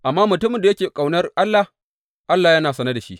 Amma mutumin da yake ƙaunar Allah, Allah yana sane da shi.